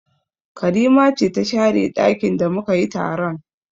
Karima ce ta share ɗakin da mu ka yi taron